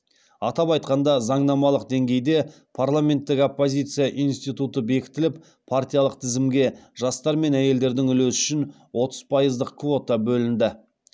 атап айтқанда заңнамалық деңгейде парламенттік оппозиция институты бекітіліп партиялық тізімге жастар мен әйелдердің үлесі үшін отыз пайыздық квота бөлінді